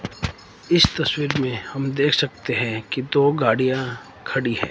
इस तस्वीर में हम देख सकते हैं कि दो गाड़ियां खड़ी हैं।